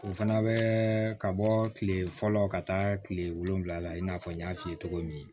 O fana bɛ ka bɔ kile fɔlɔ ka taa kile wolonwula in n'a fɔ n y'a f'i ye cogo min